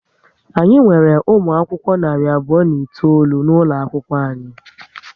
Anyị nwere umụ akwụkwọ narị abụọ na itoolu n'ụlọ akwụkwọ anyị